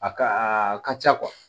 A ka a ka ca kuwa